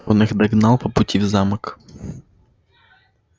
он их догнал по пути в замок